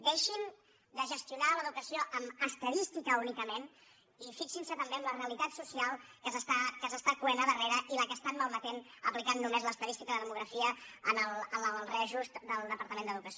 deixin de gestionar l’educació amb estadística únicament i fixin se també en la realitat social que es cou a darrere i la que malmeten aplicant només l’estadística i la demografia en el reajustament del departament d’educació